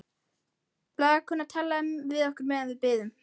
Blaðakonan talaði við okkur meðan við biðum.